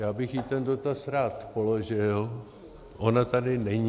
Já bych jí ten dotaz rád položil, ona tady není.